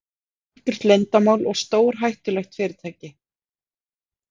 Þetta er algjört leyndarmál og stórhættulegt fyrirtæki.